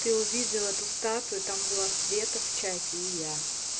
ты увидела эту статую там было света в чате и я